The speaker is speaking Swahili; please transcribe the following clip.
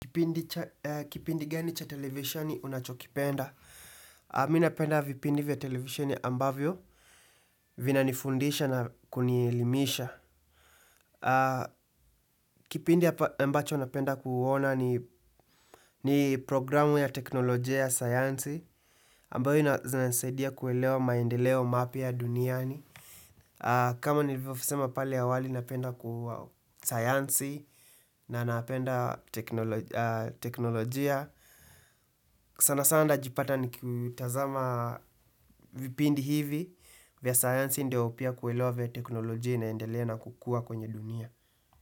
Kipindi gani cha televisheni unachokipenda? Mi napenda vipindi vya televisheni ambavyo, vinanifundisha na kunielimisha. Kipindi ambacho napenda kuona ni programu ya teknolojia ya sayansi. Ambayo inanisaidia kuelewa maendeleo mapya duniani. Kama nilivyosema pale awali napenda ku sayansi. Na napenda teknolojia. Sana sana najipata nikitazama vipindi hivi, vya sayansi ndio pia kuelewa venye teknolojia inaendelea na kukua kwenye dunia.